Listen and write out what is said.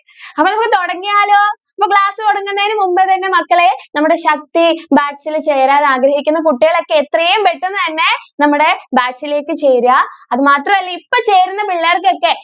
അപ്പോ നമുക്ക് തുടങ്ങിയാലോ? അപ്പോ class തുടങ്ങുന്നതിനു മുന്പ് തന്നെ മക്കളെ നമ്മുടെ batch ഇൽ ചേരാൻ ആഗ്രഹിക്കുന്ന കുട്ടികളൊക്കെ എത്രയും പെട്ടെന്ന് തന്നെ നമ്മുടെ batch ലേക്ക് ചേരുക, അത് മാത്രല്ല ഇപ്പോ ചേരുന്ന പിള്ളേർക്കൊക്കെ